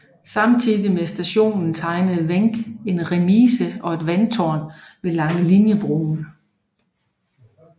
Samtidigt med stationen tegnede Wenck en remise og et vandtårn ved Langeliniebroen